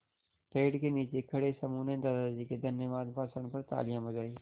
पेड़ के नीचे खड़े समूह ने दादाजी के धन्यवाद भाषण पर तालियाँ बजाईं